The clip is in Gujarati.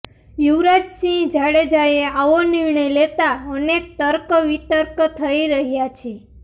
યુવરાજ સિંહ જાડેજાએ આવો નિર્ણય લેતા અનેક તર્ક વિતર્ક થઇ રહ્યાં છે